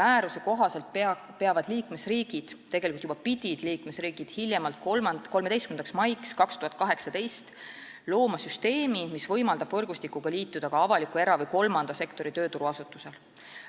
määruse kohaselt peavad liikmesriigid looma – tegelikult pidid juba hiljemalt 13. maiks 2018 – süsteemi, mis võimaldab võrgustikuga liituda ka avaliku, era- või kolmanda sektori tööturuasutustel.